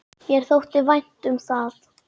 Mér þótti vænt um það.